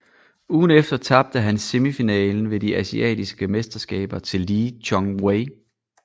Ugen efter tabte han semifinalen ved de asiatiske mesterskaber til Lee Chong Wei